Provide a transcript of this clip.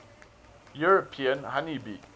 european honey bee